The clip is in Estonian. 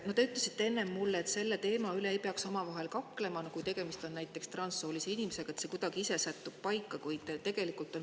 Te enne ütlesite mulle, et sel teemal ei peaks omavahel kaklema, et kui tegemist on näiteks transsoolise inimesega, siis see kuidagi ise sättub paika.